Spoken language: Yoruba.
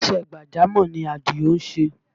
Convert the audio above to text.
Iṣẹ́ gbàjámọ̀ ni Àdìó ń ṣe